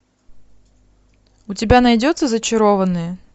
у тебя найдется зачарованные